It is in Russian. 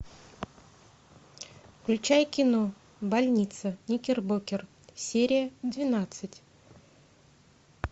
включай кино больница никербокер серия двенадцать